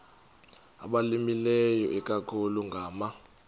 abalimileyo ikakhulu ngama